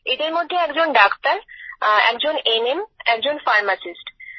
এদের মধ্যে একজন ডাক্তার একজন এনএম একজন ফারমাসিস্ট